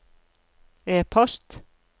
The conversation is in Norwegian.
e-post